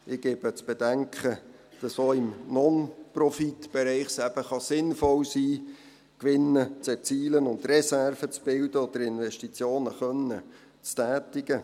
Ich gebe zu bedenken, dass es auch im Non-Profit-Bereich sinnvoll sein kann, Gewinne zu erzielen und Reserven zu bilden oder Investitionen zu tätigen.